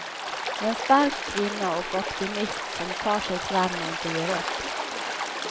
En stark kvinna och optimist som tar sig fram och inte ger upp.